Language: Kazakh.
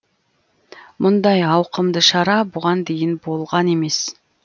мұндай ауқымды шара бұған дейін болған емес